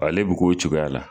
Ale bi k'o cogoya la.